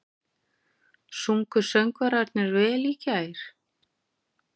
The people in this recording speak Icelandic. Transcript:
Sungu söngvararnir vel í gær?